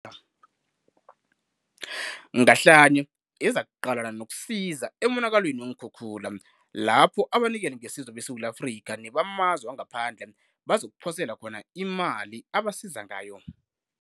Ngahlanye ezakuqalana nokusiza emonakalweni weenkhukhula lapho abanikelingesizo beSewula Afrika nebamazwe wangaphandle bazokuphosela khona imali abasiza ngayo.